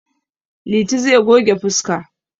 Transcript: Liti zai goge fuska.